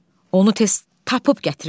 Onu tez tapıb gətirin.